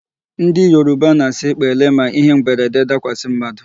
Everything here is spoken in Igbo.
Ndị Yoruba na-asị 'pele' ma ihe mberede dakwasị mmadụ.